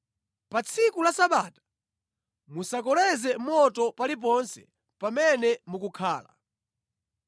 Pa tsiku la Sabata musakoleze moto paliponse pamene mukhala.”